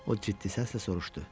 O ciddi səslə soruşdu.